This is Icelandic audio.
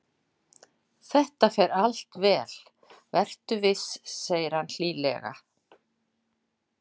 Þetta fer allt vel, vertu viss, segir hann hlýlega.